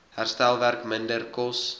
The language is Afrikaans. herstelwerk minder kos